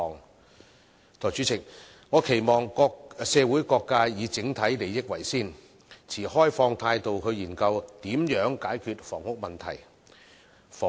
代理主席，我期望社會各界以整體利益為先，持開放態度來研究如何解決房屋供應問題。